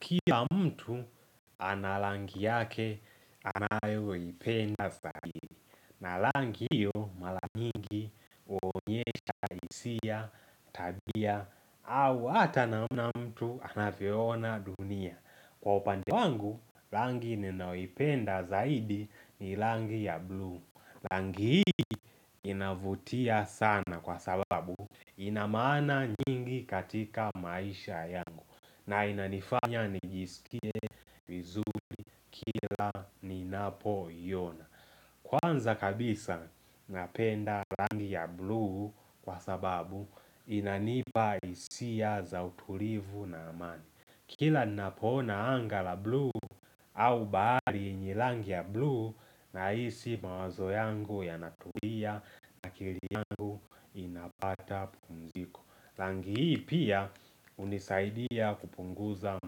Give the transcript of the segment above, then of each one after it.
Kila mtu ana rangi yake anayoipenda zaidi na rangi hiyo mara nyingi uonyesha hisia, tabia, au hata namna mtu anavyoona dunia Kwa upande wangu, rangi ninayopenda zaidi ni rangi ya blue rangi hiyo inavutia sana kwa sababu inamaana nyingi katika maisha yangu na inanifanya nijisikie vizuri kila ninapoiona Kwanza kabisa napenda rangi ya blu kwa sababu inanipa hisia za utulifu na amani Kila napoona anga la blu au bahari ni rangi ya blu nahisi mawazo yangu yanatulia akili yangu inapata pumziko rangi hii pia unisaidia kupunguza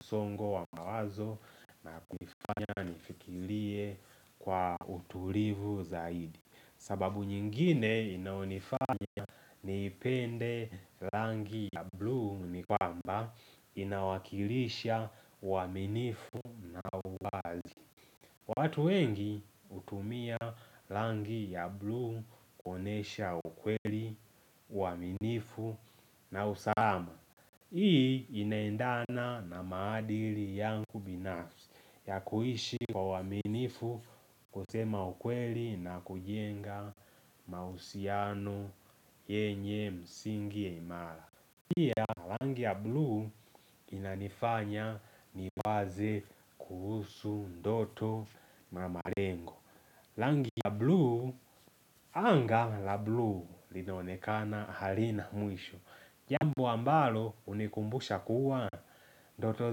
msongo wa mawazo inanifanya nifikirie kwa utulivu zaidi sababu nyingine inayonifanya nipende rangi ya blu ni kwamba Inawakilisha uaminifu watu wengi hutumia rangi ya blu kuonyesha ukweli uaminifu na usahama Hii inaendana na maadili yangu binafsi ya kuishi kwa uwaminifu kusema ukweli na kujenga mahusiano yenye msingi ya imara. Pia rangi ya blu inanifanya niwaze kuhusu ndoto na malengo. Rangi ya blu anga la blu linaonekana halina mwisho. Jambo ambalo unikumbusha kuwa ndoto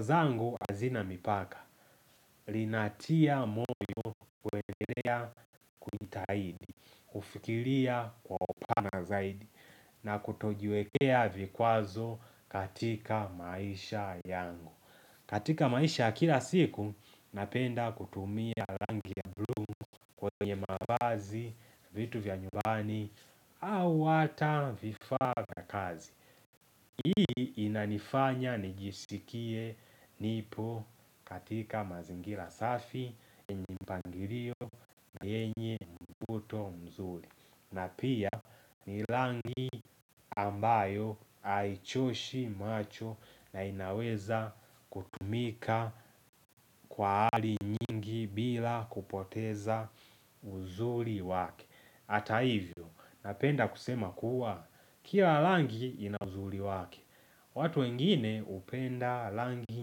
zangu hazina mipaka Linatia moyo kuendelea kujitahidi kufikiria kwa upana zaidi na kutojiwekea vikwazo katika maisha yangu katika maisha kila siku Napenda kutumia rangi ya blu kwenye mavazi vitu vya nyumbani au hata vifaa vya kazi Hii inanifanya nijisikie nipo katika mazingira safi yenye mpangilio na yenye mvuto mzuri na pia ni rangi ambayo haichoshi macho na inaweza kutumika kwa hali nyingi bila kupoteza uzuri wake Hata hivyo napenda kusema kuwa kila rangi ina uzuri wake watu wengine hupenda rangi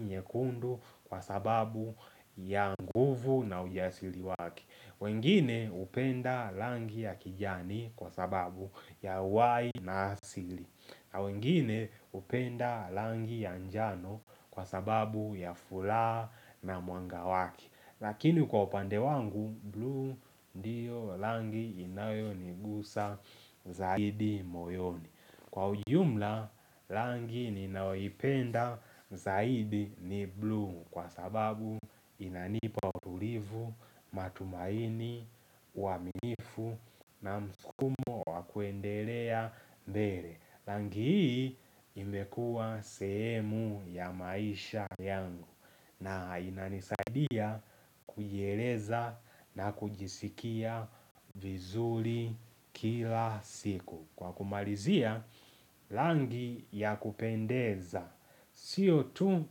nyekundu kwa sababu ya nguvu na ujasili wake wengine hupenda rangi ya kijani kwa sababu ya uhai na asili na wengine hupenda rangi ya njano kwa sababu ya furaha na mwanga wake Lakini kwa upande wangu, blue ndiyo rangi inayonigusa zaidi moyoni Kwa ujumla, rangi ninayoipenda zaidi ni blue kwa sababu inanipa utulivu, matumaini, uwaminifu na mskumo wakuendelea mbele. Rangi hii imekuwa sehemu ya maisha yangu na inanisaidia kujieleza na kujisikia vizuri kila siku. Kwa kumalizia, rangi ya kupendeza, sio tu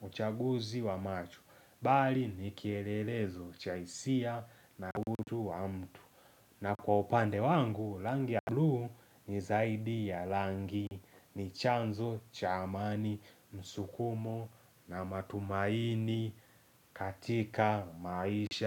uchaguzi wa macho, bali nikielelezo cha hisia na utu wa mtu. Na kwa upande wangu, rangi ya blu ni zaidi ya rangi, ni chanzo cha amani, msukumo na matumaini katika maisha.